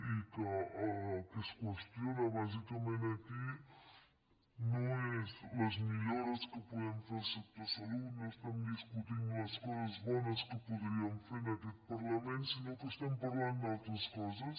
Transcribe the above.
i el que es qüestiona bàsicament aquí no són les millores que podem fer al sector salut no estem discutint les coses bones que podríem fer en aquest parlament sinó que estem parlant d’altres coses